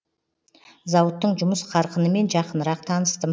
зауыттың жұмыс қарқынымен жақынырақ таныстым